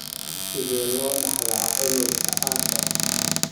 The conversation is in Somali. Sidee loo dhaxlaa cudurka Usher?